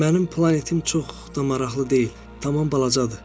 Mənim planetim çox da maraqlı deyil, tamam balacadır.